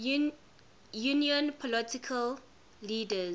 union political leaders